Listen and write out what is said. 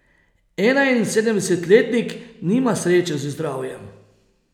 Enainsedemdesetletnik nima sreče z zdravjem.